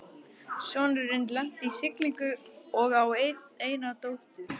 Sonurinn lenti í siglingum og á eina dóttur